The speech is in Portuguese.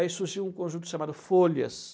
Aí surgiu um conjunto chamado Folhas.